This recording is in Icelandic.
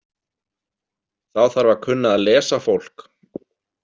Þá þarf að kunna að lesa fólk.